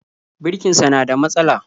Birkinsa na da matsala